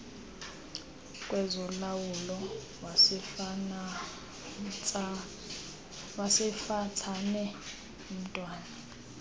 kwezolawulo wasemafatsane omntwana